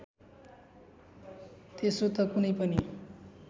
त्यसो त कुनै पनि